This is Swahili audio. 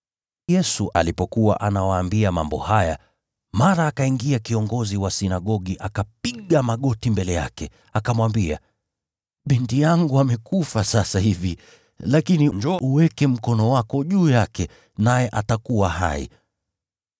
Yesu alipokuwa akiwaambia mambo haya, mara akaingia kiongozi wa sinagogi akapiga magoti mbele yake, akamwambia, “Binti yangu amekufa sasa hivi. Lakini njoo uweke mkono wako juu yake, naye atakuwa hai.”